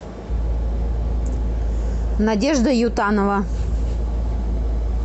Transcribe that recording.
надежда ютанова